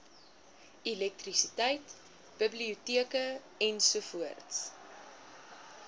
elektrisiteit biblioteke ens